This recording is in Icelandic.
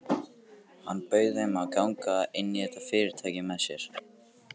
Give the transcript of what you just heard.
Hann bauð þeim að ganga inn í þetta fyrirtæki með sér.